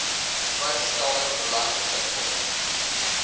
vrygestelde beleggingsinkomste